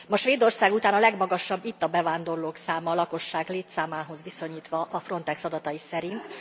Ma Svédország után a legmagasabb itt a bevándorlók száma a lakosság létszámához viszonyítva a Frontex adatai szerint.